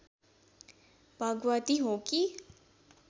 भगवती हो कि